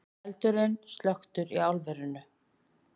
Eldurinn slökktur í álverinu